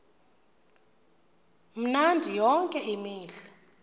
mnandi yonke imihla